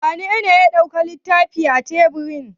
Wanene ya ɗauki fitilar teburin?